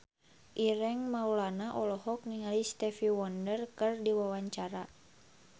Ireng Maulana olohok ningali Stevie Wonder keur diwawancara